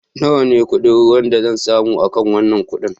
Nawa ne kuɗin ruwan da zan samu akan wanan kudi?